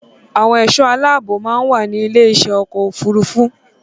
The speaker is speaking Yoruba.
Àwọn ẹ̀ṣọ́ aláàbọ̀ máa ń wà ní ilé iṣẹ́ ọkọ̀ òfurufú